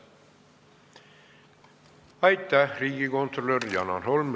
Aitäh, riigikontrolör Janar Holm!